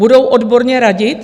Budou odborně radit?